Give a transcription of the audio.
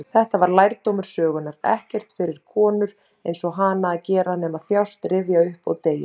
Þetta var lærdómur sögunnar: ekkert fyrir konur-einsog-hana að gera nema þjást, rifja upp, og deyja.